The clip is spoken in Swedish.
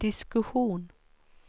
diskussion